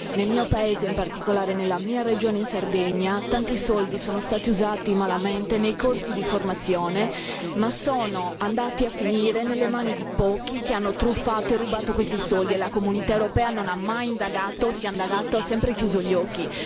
Nel mio paese, in particolare nella mia regione, in Sardegna, tanti soldi sono stati usati malamente nei corsi di formazione, e sono andati a finire nelle mani di pochi che hanno truffato e rubato questi soldi e la Comunità europea non ha mai indagato e se ha indagato ha sempre chiuso gli occhi.